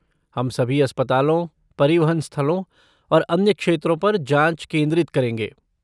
हम सभी अस्पतालों, परिवहन स्थलों और अन्य क्षेत्रों पर जाँच केंद्रित करेंगे।